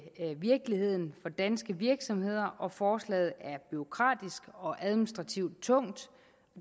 virkeligheden for danske virksomheder og forslaget er bureaukratisk og administrativt tungt